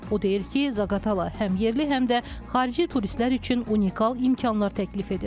O deyir ki, Zaqatala həm yerli, həm də xarici turistlər üçün unikal imkanlar təklif edir.